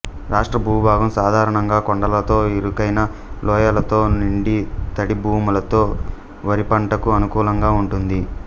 రాష్ట్రభూభాగం సాధారణంగా కొండలతో ఇరుకైన లోయలతోనిండి తడి భూములతో వరిపంటకు అనుకూలంగా ఉంటుంది